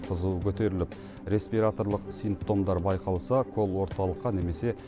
қызуы көтеріліп респираторлық симптомдар байқалса кол орталыққа немесе